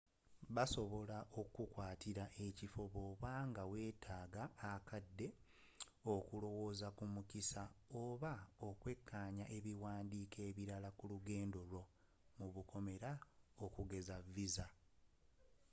basobola okukukwatira ekifo bwoba nga weetaaga akadde okulowooza ku mukisa oba okwekkaanya ebiwandiiko ebirala ku lugendo lwo okugeza . visa